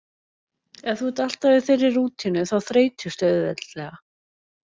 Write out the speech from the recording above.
Ef þú ert alltaf í þeirri rútínu þá þreytistu auðveldlega.